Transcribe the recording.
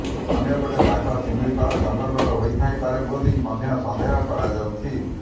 ଅନ୍ୟପଟେ ବାଘ ଶିମିଳିପାଳ ଜଙ୍ଗଲର ହୋଇଥାଇ ପାରେ ବୋଲି ମଧ୍ୟ ସନ୍ଦେହ କରାଯାଉଛି